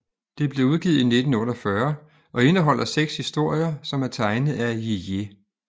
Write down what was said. Det blev udgivet i 1948 og indeholder 6 historier som er tegnet af Jijé